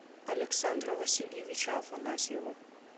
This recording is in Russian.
александра васильевича афанасьева